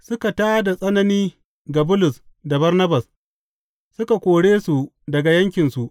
Suka tā da tsanani ga Bulus da Barnabas, suka kore su daga yankinsu.